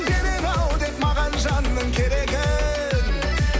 берер ау деп маған жанның керегін